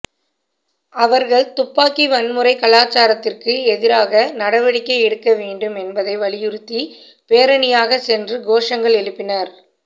அவர்கள் துப்பாக்கி வன்முறை கலாசாரத்துக்கு எதிராக நடவடிக்கை எடுக்க வேண்டும் என்பதை வலியுறுத்தி பேரணியாக சென்று கோஷங்கள் எழுப்பினர்